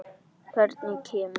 Hvernig kemur